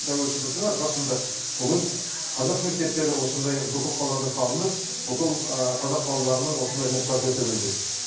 тәуелсіздіктің арқасында бүгін қазақ мектептері осындай бүкіл қалада салынып бүкіл қазақ балаларының осындай мұқтажы өтелуде